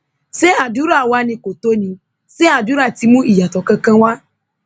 ṣé àdúrà wàá ni kò tó ní ṣe àdúrà ti mú ìyàtọ kankan wá